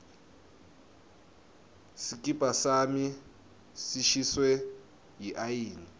sikipa sami sishiswe yiayina